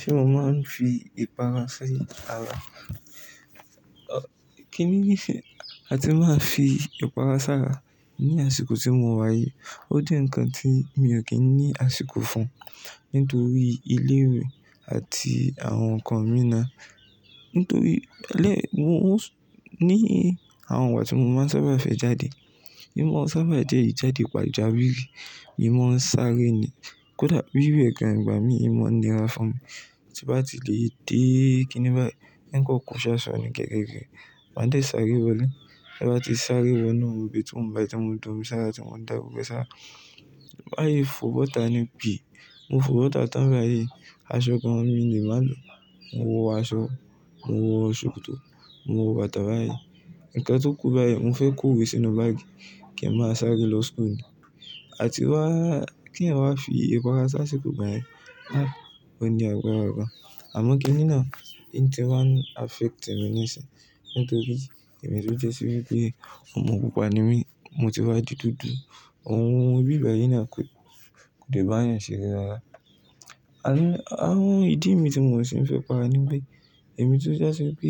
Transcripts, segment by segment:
Ṣé mo máa ń fi ìpara si ara? Ọ̀, kí ní ní ìfẹ́? A ti máa ń fi ìpara s'ára ní àsìkò tí mo wá yìí. Ó jẹ́ ǹkan tí mi ò kí ń ní àsìkò fún un nítorí ilé ìwé àti àwọn ǹkan mìíràn. Nítorí lẹ́-- mo ń-- ní àwọn ìgbà tí mo máa ń sábà fẹ́ jáde, nií mo sábà jẹ́ ìjáde pàjà wírí, èmi máa ń sáré ni. Kódà wíwẹ̀ ìgbà mi, i máa ń nira fún mi. Tí bá ti lè dé kí nì báyi, ǹ kan kò ṣaṣọ ni gẹ́gẹ́ rẹ̀. Màá dé sáré wọlé. Ta bá ti sáré wọ inú bathroom bai, tí mò da omi ṣ'àrà tí mò ń dá gbọ́gbo ẹ́ s'ara, maa fo bọ́ta ni pí. Mo fo bọ́ta tán báyii. Aṣọ gan mo le mà lo. Mo wọ aṣọ, mo wọ ṣòkòtò, mo wọ bàtà báyìí. Ǹkan tó kú báyìí, mo fẹ́ kó o iwé sínú báàgì kí n máa sáré lọ school. A ti wá, kí ẹ̀yan wá fi ìpara si àṣìkò igbà yẹ́n, ah, ò ní àgbára gan. Àmọ́ kínni naà, í ti wá ń affect mi níṣin. Nítorí èmi tó jẹ́ sí wípé ọmọ pupa ni mí, mo ti wá di dúdú. Ohun bí ibẹ̀ yí náà kò, kò lè bá ènìyàn ṣe're rárá. Àní, àwọn ìdí mi tí mò ń ṣe ń fẹ́ para ni wípé èmi tó jasi pé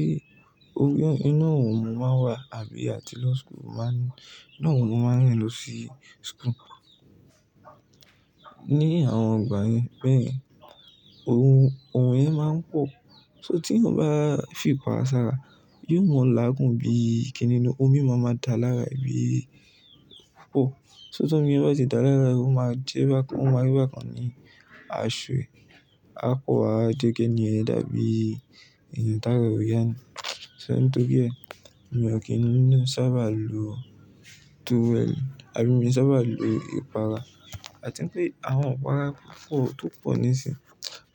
inú òrùn mo máa wà àbí àti lo school mo máa ń-- inú òrùn mo máa ń rìn lọ sí school. Ní àwọn ìgbà yẹn béyen, oorun yẹn máa ń pò. So tí ẹ̀eyan bá fi ipara s'ára, yóò mo ọ láagùn bí i, kínní ni omi máa máa da lára rẹ̀ bí i poll. So tí omi bá ti da lára rẹ̀, ó máa jẹ́ bá kan, ó máa rí bá kan ní aṣọ ẹ, a kó wa jẹ́ kí ènìyàn dàbí ènìyàn tárà re ò yà ni. So nítorí ẹ, mi ò kí ń sábà lo towel àbí mi ò sábà lo ìpara. A ti ń pé àwọn ipara pọ̀, tó pọ̀ níṣinyi.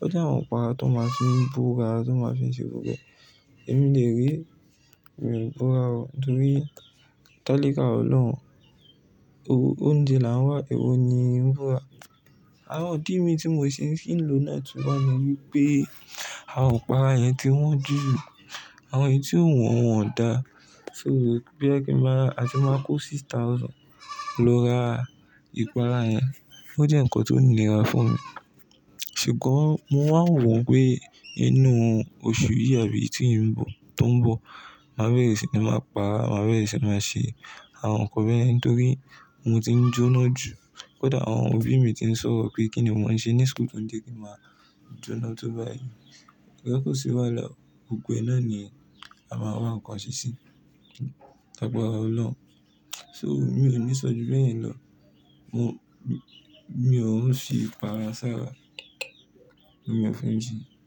Ó jẹ́ àwọn ipara tó máa fi n bóra, tó máa fi ń ṣe gbogbo ẹ. Èmi dè ree mi o bóra o nítorí tálíkà Ọlọ́run, o-óúnjẹ là ń wá, èwo ni ń bibóra. Àwọn ìdí mi tí mò ń ṣi ń fi n lo náà tú wá ni wípé àwọn ipara yẹn ti wọ́n jù, àwọn èyí tí ò wọ́n won ò dá. So boya kí ń máa, a ti máa kó six thousand lọ ra ìpara yẹn, ó jẹ́ ǹkan tó nira fún mi. Ṣùgbọ́n mo wà ń wọ̀ pé inú oṣù yìí àbí tí ń bọ̀, tó ń bọ̀, màá bẹ̀rẹ̀ ṣi ní máa pa á, màá bẹ̀rẹ̀ sì máa ṣe àwọn ǹkan bẹyen nítorí mo ti ń jóná jù. Kódà àwọn òbí mi ti ń sọ̀rọ̀ pé kí ni mò ń ṣe ní school tó ń jé kí màá jóná tó báyi. Sugbon ko sì wáhalà, gbogbo e náani a máa wá ǹkan ṣe ṣí. Lagbara Ọlọ́run. So mi ò ní sọ ju bẹ́ẹ̀ yẹn lọ. Mo, mi ò ń fi ìpara s'ara. Mi ò fún un jí.